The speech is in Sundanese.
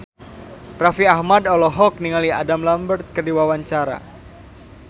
Raffi Ahmad olohok ningali Adam Lambert keur diwawancara